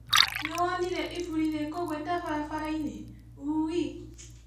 Nĩwonire iburi rĩkũgwĩte barabarainĩ? ũĩũĩ